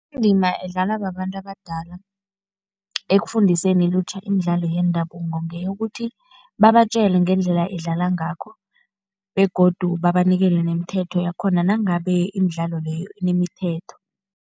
Indima edlalwa babantu abadala ekufundiseni ilutjha imidlalo yendabuko ngeyokuthi, babatjele ngendlela idlalwa ngakho begodu babanikele nemithetho yakhona nangabe imidlalo leyo inemithetho.